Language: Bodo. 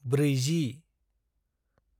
ब्रैजि